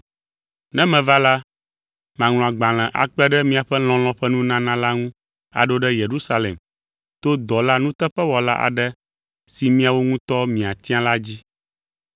Ne meva la, maŋlɔ agbalẽ akpe ɖe miaƒe lɔlɔ̃ ƒe nunana la ŋu aɖo ɖe Yerusalem to dɔla nuteƒewɔla aɖe si miawo ŋutɔ miatia la dzi.